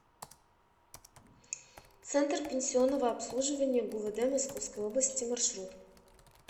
центр пенсионного обслуживания гувд московской области маршрут